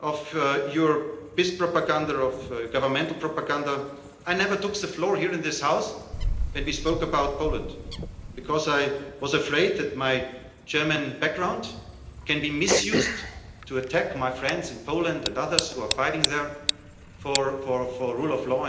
of your PiS governmental propaganda, I never took the floor here in this House when we spoke about Poland, because I was afraid that my German background could be misused to attack my friends in Poland and others who are fighting there for the rule of law